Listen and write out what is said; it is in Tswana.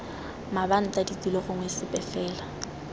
mabanta ditilo gongwe sepe fela